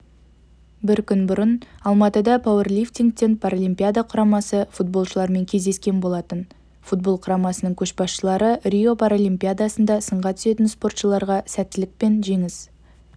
бір күн бұрын алматыда пауэрлифтингтен паралимпиада құрамасы футболшылармен кездескен болатын футбол құрамасының көшбасшылары рио паралимпиадасында сынға түсетін спортшыларға сәттілік пен жеңіс